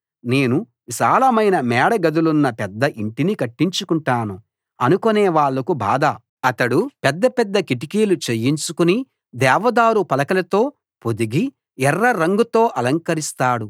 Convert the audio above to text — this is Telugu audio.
నేను విశాలమైన మేడ గదులున్న పెద్ద ఇంటిని కట్టించుకుంటాను అనుకునే వాళ్లకు బాధ అతడు పెద్ద పెద్ద కిటికీలు చేయించుకుని దేవదారు పలకలతో పొదిగి ఎర్ర రంగుతో అలంకరిస్తాడు